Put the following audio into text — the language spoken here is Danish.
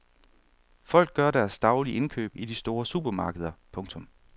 Folk gør deres daglige indkøb i de store supermarkeder. punktum